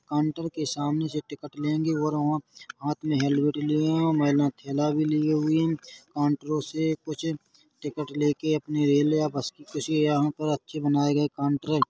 counter के सामने से टिकट लेंगे और ओं हाथ में हेलमेट लिए हैं और मेला थैला भी लिए हुए हैं कॉउंटरो से कुछ टिकट लेके अपनी रेल या बस की कुछ हैं यहाँ पर बनाए गए काउंटरे --